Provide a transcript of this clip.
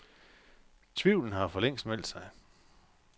Tvivlen har forlængst meldt sig.